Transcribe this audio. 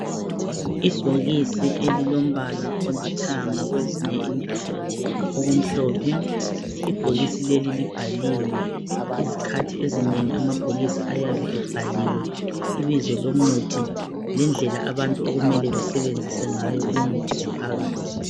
Ibhokisi elilombala olithanga kwezinye indawo okumhlophe. Ibhokisi leli libhaliwe. Izikhathi ezinengi amabhokisi ayabe ebhaliwe ibizo lomuthi lendlela abantu okumele besebenzise ngayo umuthi ophakathi.